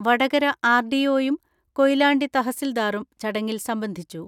വടകര ആർ.ഡി.ഒയും കൊയിലാണ്ടി തഹസിൽദാറും ചടങ്ങിൽ സംബന്ധിച്ചു.